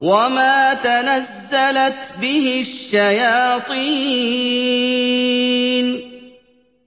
وَمَا تَنَزَّلَتْ بِهِ الشَّيَاطِينُ